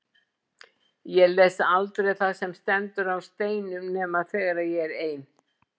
Ég les aldrei það sem stendur á steinum nema þegar ég er ein.